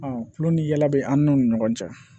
Ɔn kulu ni yala be an n'u ni ɲɔgɔn cɛ